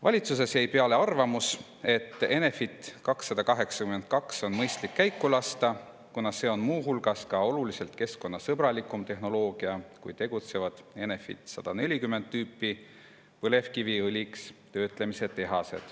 Valitsuses jäi peale arvamus, et Enefit 282 on mõistlik käiku lasta, kuna see on muu hulgas oluliselt keskkonnasõbralikum tehnoloogia kui tegutsevad Enefit 140 tüüpi tehased, kus töödeldakse põlevkivi õliks.